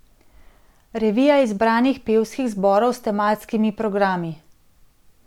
Revija izbranih pevskih zborov s tematskimi programi.